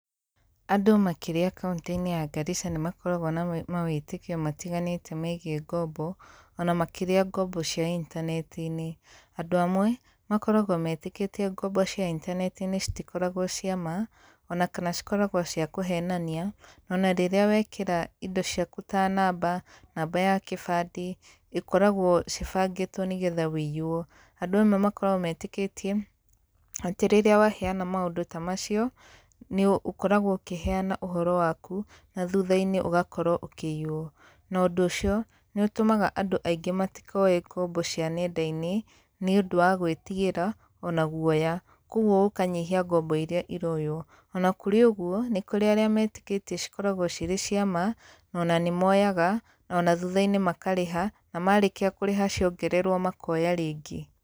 Andũ makĩria kauntĩ-inĩ ya Garisa nĩmakoragũo na mawĩtĩkio matiganĩte megiĩ ngombo, ona makĩria ngombo cia intaneti-inĩ. Andũ amwe, makoragũo metĩkĩtie ngombo cia intaneti-inĩ citikoragũo cia ma, ona kana cikoragũo cia kũhenania, ona rĩrĩa wekĩra indo ciaku ta namba, namba ya kĩbandĩ, ĩkoragũo cibangĩtũo nĩgetha wĩiywo. Andũ amwe makoragũo metĩkĩtie, atĩ rĩrĩa waheana maũndũ ta macio, nĩ ũkoragũo ũkĩheana ũhoro waku, na thutha-inĩ ũgakorũo ũkĩiyũo. Na ũndũ ũcio, nĩũtũmaga andũ aingĩ matikoe ngombo cia nenda-inĩ, nĩũndũ wa gũĩtigĩra ona guoya. Kuoguo gũkanyihia ngombo iria iroyũo. Ona kũrĩ ũguo, nĩ kũrĩ arĩa metĩkĩtie cikoragũo cirĩ ciama, na ona nĩmoyaga, na ona thutha-inĩ makarĩha, na marĩkia kũrĩha ciongererũo makoya rĩngĩ.